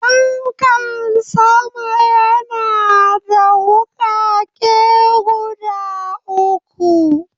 Fankan sama yana da wukake guda uku.